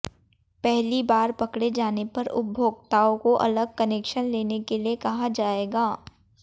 पहली बार पकड़े जाने पर उपभोक्ताओं को अलग कनेक्शन लेने के लिए कहा जाएगा